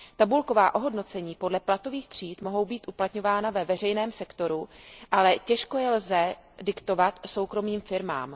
Tabulková ohodnocení podle platových tříd mohou být uplatňována ve veřejném sektoru, ale těžko je lze diktovat soukromým firmám.